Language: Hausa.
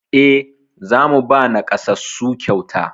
E, za mu ba naƙasassu kyauta.